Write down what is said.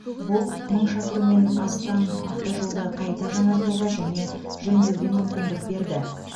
бұл мың шақырыммен астам автожолды қайта жаңартуға және жөндеуге мүмкіндік берді